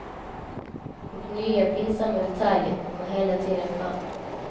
Och nya pinsamma detaljer kommer hela tiden fram.